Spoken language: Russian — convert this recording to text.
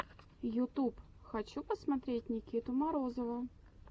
ютюб хочу посмотреть никиту морозова